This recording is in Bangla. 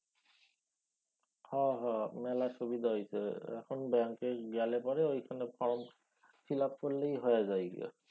হ হ মেলা সুবিধা হইছে এখন ব্যাঙ্কে গেলে পরে এইখানে ফর্ম fill up করলেই হয়ে যায় গিয়া।